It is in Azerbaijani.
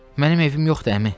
Mənim evim yoxdur, əmi.